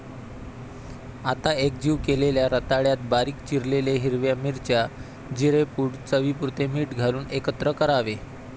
आता एकजीव केलेल्या रताळ्यात बारीक चिरलेल्या हिरव्या मिरच्या, जिरेपुड, चवीपुरते मीठ घालून एकत्र करावे.